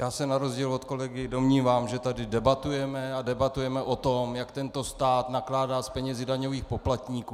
Já se na rozdíl od kolegy domnívám, že tady debatujeme a debatujeme o tom, jak tento stát nakládá s penězi daňových poplatníků.